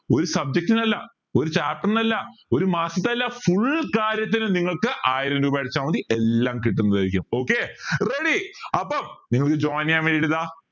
ഒരു subject നല്ല ഒരു chapter ന് അല്ല ഒരു മാസത്തെ അല്ല full കാര്യത്തിന് നിങ്ങൾക്ക് ആയിരം രൂപ അടച്ച മതി എല്ലാം കിട്ടുന്നതായിരിക്കും okay ready അപ്പൊ നിങ്ങൾക്ക് join ചെയ്യാൻ വേണ്ടീട്ടിതാ